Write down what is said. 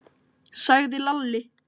sagði Lalli.